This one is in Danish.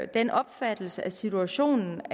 den opfattelse af situationen